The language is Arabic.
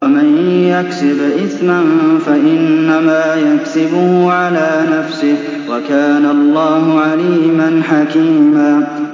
وَمَن يَكْسِبْ إِثْمًا فَإِنَّمَا يَكْسِبُهُ عَلَىٰ نَفْسِهِ ۚ وَكَانَ اللَّهُ عَلِيمًا حَكِيمًا